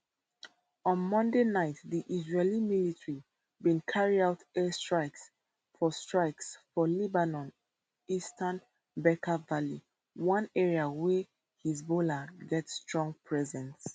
on monday night di israeli military bin carry out air strikes for strikes for lebanon eastern bekaa valley one area where hezbollah get strong presence